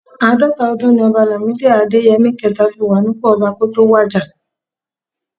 Àádọ́ta ọdún ni ọba Làmídì Adéyẹmi kẹẹ̀ta fi wà nípò ọba kó tó wàjà